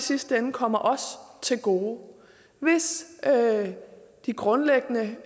sidste ende kommer os til gode hvis de grundlæggende